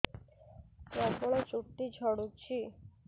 ପ୍ରବଳ ଚୁଟି ଝଡୁଛି